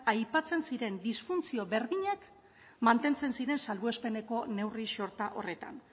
aipatzen ziren disfuntzio berdinak mantentzen ziren salbuespeneko neurri sorta horretan